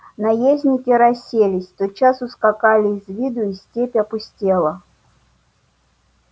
наездники расселись тотчас ускакали из виду и степь опустела